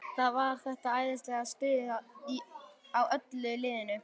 Það var þetta æðislega stuð á öllu liðinu.